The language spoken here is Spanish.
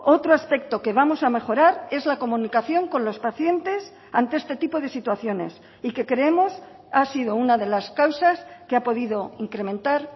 otro aspecto que vamos a mejorar es la comunicación con los pacientes ante este tipo de situaciones y que creemos ha sido una de las causas que ha podido incrementar